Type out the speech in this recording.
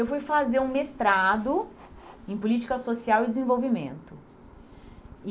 Eu fui fazer um mestrado em Política Social e Desenvolvimento. E